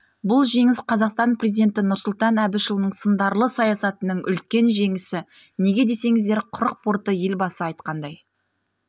бұл жеңіс қазақстан президенті нұрсұлтан әбішұлының сындарлы саясатының үлкен жеңісі неге десеңіздер құрық порты елбасы айтқандай